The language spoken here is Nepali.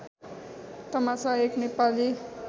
तमासा एक नेपाली